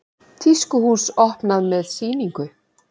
Tískuhús opnað með sýningu